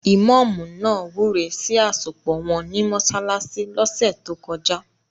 Ìmọ́ọ̀mù náà wúre sí àsopọ̀ wọn ní mọsálásí lọ́sẹ̀ tókọjá.